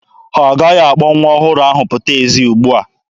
Ha agaghị akpọ nwa ọhụrụ ahụ pụta ezi ugbua.